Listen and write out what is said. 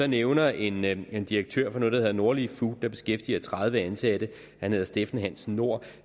nævner en nævner en direktør for noget der hedder nordlie food og som beskæftiger tredive ansatte han hedder steffen hansen nord